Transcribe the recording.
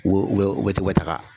Wu bɛ wu bɛ taga.